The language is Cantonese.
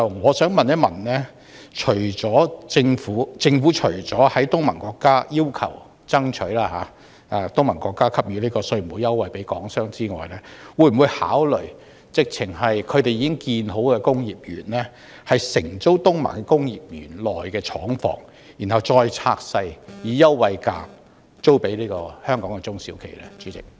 我想問政府除要求及爭取東盟國家向港商提供稅務優惠外，會否考慮直接承租東盟國家已建成工業園的廠房，然後再將之分拆並以優惠價出租予香港的中小企使用？